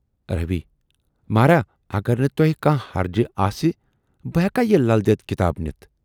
روی"مہراہ! اَگر نہٕ تۅہہِ کانہہ حرجہٕ آسہِ بہٕ ہیکیا یہِ"لل دٮ۪د"کِتاب نِتھ؟